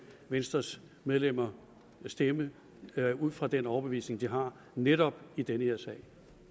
venstres medlemmer stemme ud fra den overbevisning vi har netop i den her sag